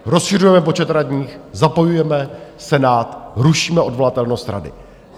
Rozšiřujeme počet radních, zapojujeme Senát, rušíme odvolatelnost rady.